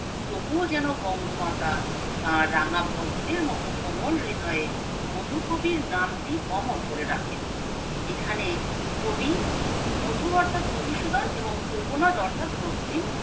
তবুও যেন বঙ্গমাতা তার রাঙ্গাপদ্মের মতো কোমল হৃদয়ে মধু কবির নাম টি অমর করে রাখে এখানে কবি মধু অর্থাৎ মধুসুধন এবং কোকোনাদ অর্থাৎ রক্তিম